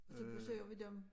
Og så besøger vi dem